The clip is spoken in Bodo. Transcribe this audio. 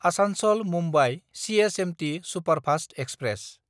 आसानसल–मुम्बाइ सिएसएमटि सुपारफास्त एक्सप्रेस